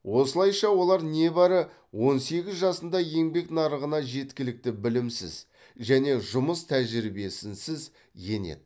осылайша олар небәрі он сегіз жасында еңбек нарығына жеткілікті білімсіз және жұмыс тәжірибесінсіз енеді